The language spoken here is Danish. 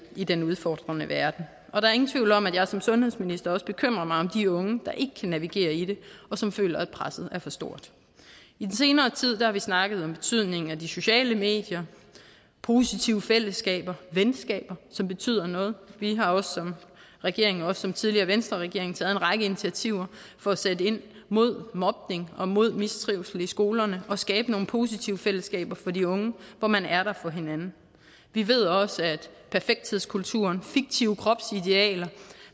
i den udfordrende verden og der er ingen tvivl om at jeg som sundhedsminister bekymrer mig om de unge der ikke kan navigere i det og som føler at presset er for stort i den senere tid har vi snakket om betydningen af de sociale medier positive fællesskaber venskaber som betyder noget vi har som regering også som tidligere venstreregering taget en række initiativer for at sætte ind mod mobning og mod mistrivsel i skolerne og skabe nogle positive fællesskaber for de unge hvor man er der for hinanden vi ved også at perfekthedskulturen fiktive kropsidealer